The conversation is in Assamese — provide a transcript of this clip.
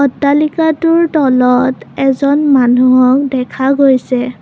অট্টালিকাটোৰ তলত এজন মানুহক দেখা গৈছে।